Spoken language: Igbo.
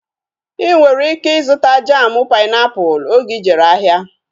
Ị nwere ike ịzụta jamu painiapulu oge ijere ahịa